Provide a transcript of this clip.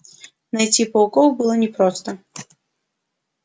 найти пауков было непросто